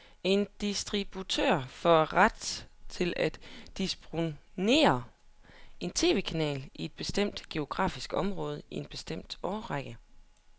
En distributør får ret til at distribuere en tv-kanal i et bestemt geografisk område i en bestemt årrække.